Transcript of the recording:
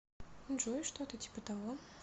джой что то типа того